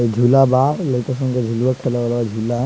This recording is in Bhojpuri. झूला बा लाइका संग के झुलवा खेलबा झुलवा।